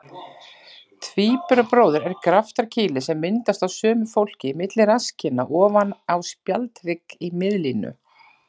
Tvíburabróðir er graftarkýli sem myndast á sumu fólki milli rasskinna ofan á spjaldhrygg í miðlínu.